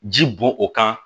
Ji bɔn o kan